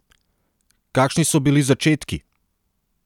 Kakšni so bili začetki?